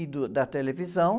e do, da televisão.